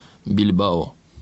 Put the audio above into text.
бильбао